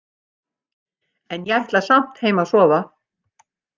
En ég ætla samt heim að sofa